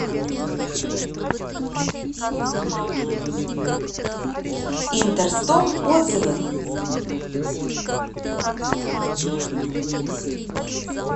интерстом отзывы